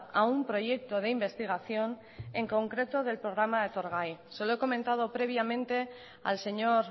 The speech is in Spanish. a un proyecto de investigación en concreto del programa etorgai se lo he comentado previamente al señor